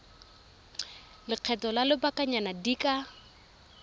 lekgetho la lobakanyana di ka